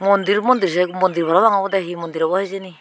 mondir mondir se mondirbo rong obodey hee mondir obow hijeni.